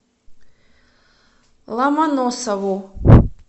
ломоносову